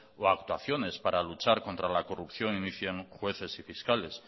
o actuaciones para luchas contra la corrupción inicien jueces y fiscales